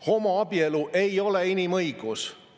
Homoabielu ei ole inimõigus.